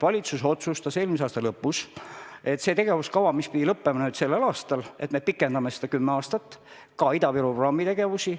Valitsus otsustas eelmise aasta lõpus, et me pikendame seda tegevuskava, mis pidi lõppema tänavu, veel kümme aastat, sh ka Ida-Viru programmi tegevusi.